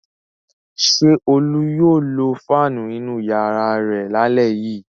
Ṣé Olú yóò lo fáánù inú ìyàrá rẹ̀ lálẹ́ yìí?